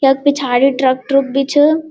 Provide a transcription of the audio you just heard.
यख पिछाड़ी truck truck बि छ।